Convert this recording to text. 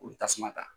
U bɛ tasuma ta